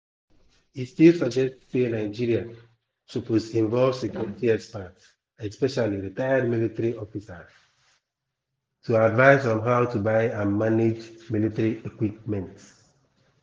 e still suggest say nigeria suppose involve security experts especially retired military officers to advise on how to buy and manage military equipment.